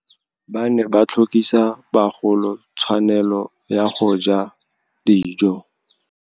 Ba ne ba tlhokisa bagolo tswanelô ya go ja dijô.